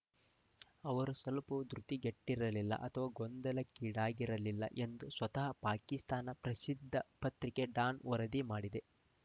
ಅವರು ಸ್ವಲ್ಪವೂ ಧೃತಿಗೆಟ್ಟಿರಲಿಲ್ಲ ಅಥವಾ ಗೊಂದಲಕ್ಕೀಡಾಗಿರಲಿಲ್ಲ ಎಂದು ಸ್ವತಃ ಪಾಕಿಸ್ತಾನ ಪ್ರಸಿದ್ಧ ಪತ್ರಿಕೆ ಡಾನ್‌ ವರದಿ ಮಾಡಿದೆ